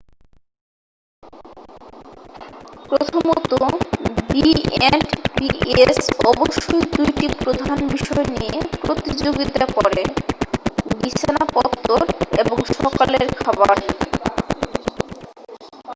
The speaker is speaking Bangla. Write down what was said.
প্রথমত বিএন্ডবিএস অবশ্যই 2টি প্রধান বিষয় নিয়ে প্রতিযোগিতা করে বিছানা পত্তর এবং সকালের খাবার